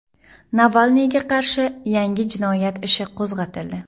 Navalniyga qarshi yangi jinoyat ishi qo‘zg‘atildi.